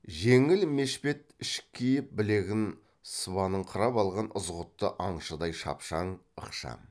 жеңіл мешпет ішік киіп білегін сыбаныңқырап алған ызғұтты аңшыдай шапшаң ықшам